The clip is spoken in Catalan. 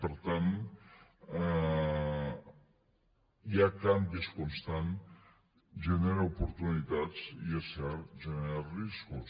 per tant hi ha canvis constants genera oportunitats i és cert genera riscos